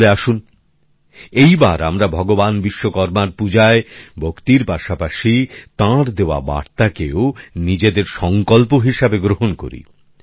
তাহলে আসুন এই বার আমরা ভগবান বিশ্বকর্মার পূজায় ভক্তির পাশাপাশি তাঁর দেওয়া বার্তাকেও নিজেদের সংকল্প হিসেবে গ্রহণ করি